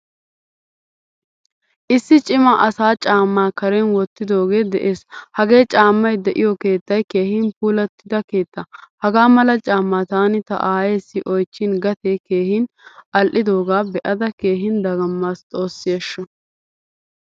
Issi cima asaa caama karen wottidoge de'ees. Hagee caamay de'iyo keettay keehin puulattida keettaa. Hagaa mala caama taani ta aayeesi oychchin gatee keehin al'idoga beada keehin dagamasi xoossi ashsho.